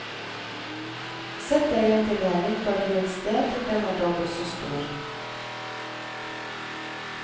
Sett deigen til heving på et lunt sted til den er dobbelt så stor.